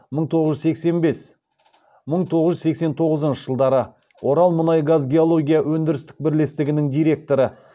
мың тоғыз жүз сексен бес мың тоғыз жүз сексен тоғызыншы жылдары оралмұнайгазгеология өндірістік бірлестігінің директоры